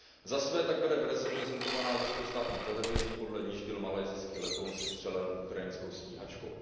Za své tak bere verze prezentovaná ruskou státní televizí, podle níž byl malajsijský letoun sestřelen ukrajinskou stíhačkou.